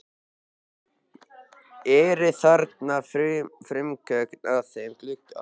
Eru þarna frumgögnin að þeim glugga.